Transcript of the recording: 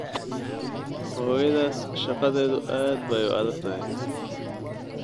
Hooyadaas shaqadeedu aad bay u adag tahay.